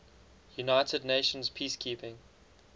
united nations peacekeeping